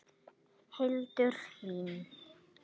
Hildur Hlín.